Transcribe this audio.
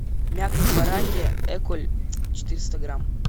мякоть баранья эколь четыреста грамм